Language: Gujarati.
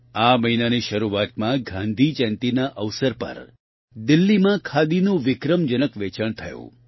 આ મહિનાની શરૂઆતમાં ગાંધી જયંતિના અવસર પર દિલ્લીમાં ખાદીનું વિક્રમજનક વેચાણ થયું